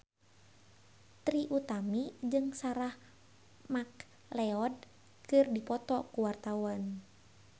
Trie Utami jeung Sarah McLeod keur dipoto ku wartawan